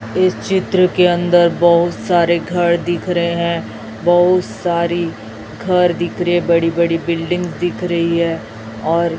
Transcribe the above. इस चित्र के अंदर बहुत सारे घर दिख रहे है बहुत सारी घर दिख रही है बड़ी बड़ी बिल्डिंग दिख रही है और --